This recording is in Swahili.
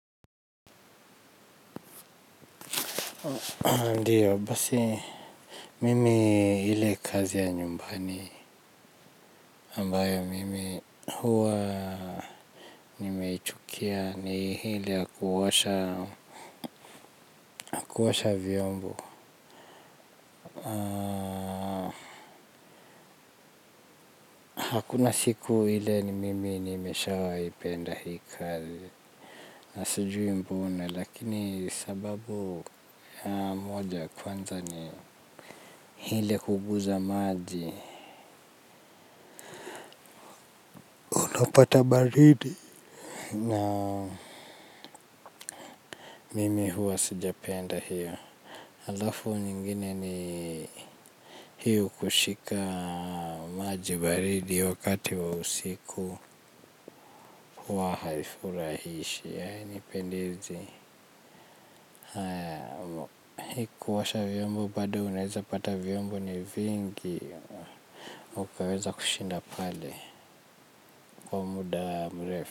Ndiyo basi mimi ile kazi ya nyumbani ambayo mimi huwa nimeichukia ni ile ya kuosha vyombo hakuna siku ile ni mimi nimeshawai penda hii kazi na sijui mbona lakini sababu moja kwanza ni ile kuguza maji napata baridi na mimi huwa sijapenda hiyo alafu nyingine ni hiyo kushika maji baridi wakati wa usiku huwa haifuirahishi haya ni pendizi hii kuosha vyombo bado unaweza pata vyombo ni vingi. Ukaweza kushinda pale kwa muda mrefu.